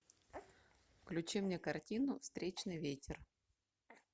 включи мне картину встречный ветер